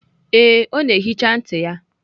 Ee, ọ na-ehicha ntị ya.